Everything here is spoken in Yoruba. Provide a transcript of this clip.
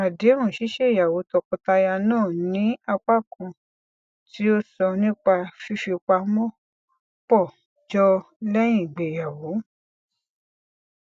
àdéhùn ṣíṣéyàwó tọkọtaya náà ní apá kan tí ó sọ nípa fífipamọ pọ jọ lẹyìn ìgbéyàwó